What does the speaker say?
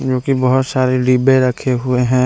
क्योंकि बहुत सारे डिब्बे रखे हुए हैं।